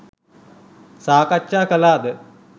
සාකච්ඡා කළාද?